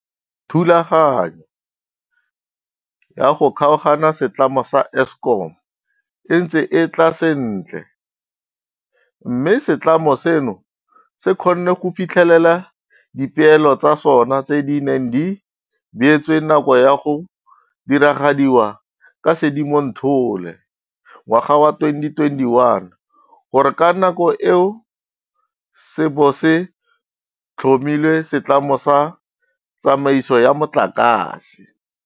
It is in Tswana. Thulaganyo ya go kgaoganya setlamo sa Eskom e ntse e tla sentle, mme setlamo seno se kgonne go fitlhelela dipeelo tsa sona tse di neng di beetswe nako ya go diragadiwa ka Sedimonthole 2021 gore ka nako eo se bo se tlhomile Setlamo sa Tsamaiso ya Motlakase.